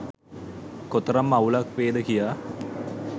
කොතරම් අවුලක් වේද කියා